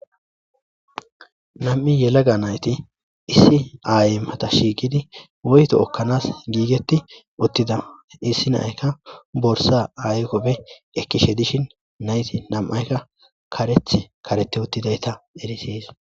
Nam'i yelaga nayti issi aaymata shiiqidi woyto okkanas giigeti uttida issi naykka borsa aykopbe ekkishe dishin nayti nam'aykka kareth karete uttidayta erisis.